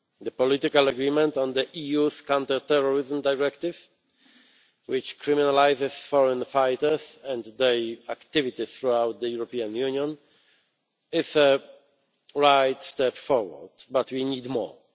The political agreement on the EU's Counter Terrorism Directive, which criminalises foreign fighters and their activities throughout the European Union, is the right step forward, but we need more.